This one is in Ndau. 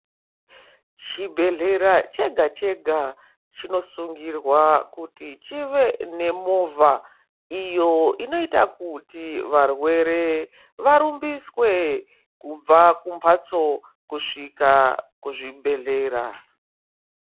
Chibhedhlera chega-chega chinosungira kuti chive nemovha iyo inoita kuti varwere varumbiswe kubva kumhatso kusvika kuzvibhedhlera.